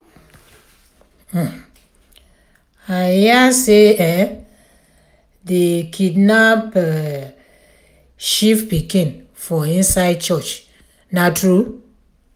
um i hear say um dey kidnap um chief pikin for inside church na true?